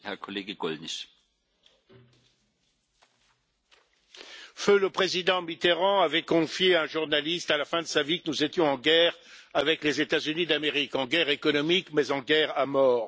Monsieur le Président, feu le président Mitterrand avait confié à un journaliste, à la fin de sa vie, que nous étions en guerre avec les États Unis d'Amérique, en guerre économique, mais en guerre à mort.